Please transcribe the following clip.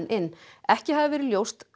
inn ekki hafi verið ljóst